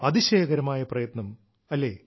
അതിശയകരമായ പ്രയത്നം അല്ലേ